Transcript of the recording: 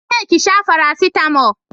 Na ce ki sha farasitamo